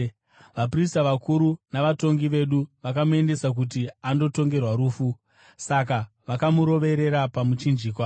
Vaprista vakuru navatongi vedu vakamuendesa kuti andotongerwa rufu, saka vakamuroverera pamuchinjikwa;